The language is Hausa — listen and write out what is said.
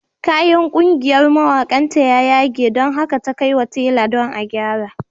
Kayan ƙungiyar mawaƙanta ya yage don haka ta kai wa tela don gyara.